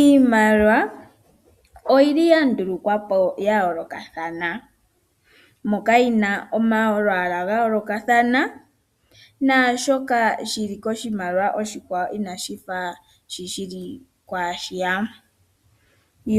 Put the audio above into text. Iimaliwa oyili ya ndulukwapo pamikalo dhayo lokathana mpoka yina omalwala ga yolokathana nashoka shili koshimaliwa oshi kwawo inashi fathana shi shili kwa shiya.